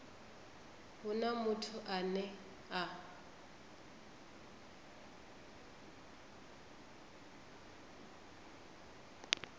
hu na muthu ane a